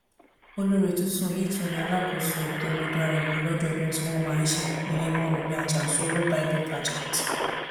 olórí tuntun yìí tún ni alákòóso ètò omidan arẹwà ọlọdọọdún tí wọn máa ń ṣe ìyẹn mọrẹmi ajansoro bible pageant